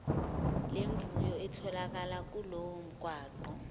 lemvuyo itholakala kulomgwaqo